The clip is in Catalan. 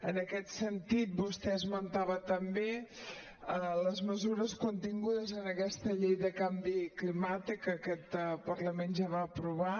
en aquest sentit vostè esmentava també les mesures contingudes en aquesta llei del canvi climàtic que aquest parlament ja va aprovar